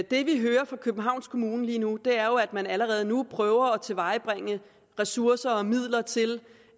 det vi hører fra københavns kommune lige nu er jo at man allerede nu prøver at tilvejebringe ressourcer og midler til